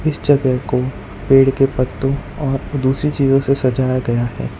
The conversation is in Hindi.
इस जगह को पेड़ के पत्तों और दूसरी चीजों से सजाया गया है।